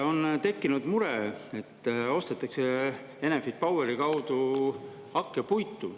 On tekkinud mure, et Enefit Poweri kaudu ostetakse hakkepuitu.